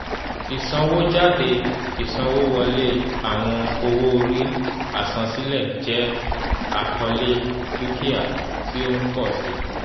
ìsanwójádé ìsanwówọlé àwọn owó-orí àsansílẹ̀ jẹ́ àkọlé dukia ti o ń pọ̀ si